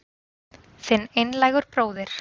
Þinn einlægur bróðir